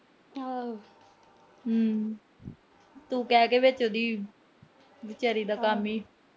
ਹੂੰ। ਤੂੰ ਕਹਿ ਕੇ ਵਿਚੋਂ ਦੀ ਵਿਚਾਰੀ ਦਾ ਕੰਮ ਈ ਵਿਗਾੜਤਾ।